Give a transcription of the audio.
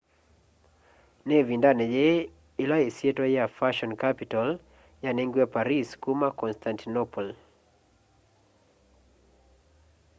ni ivindani yii ila isyitwa ya fashion capital yanengiwe paris kuma kwa constantinople